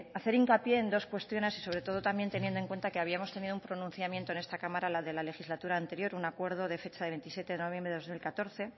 hacer hincapié en dos cuestiones y sobre todo también teniendo en cuenta que habíamos tenido un pronunciamiento en esta cámara la de la legislatura anterior un acuerdo de fecha de veintisiete de noviembre de dos mil catorce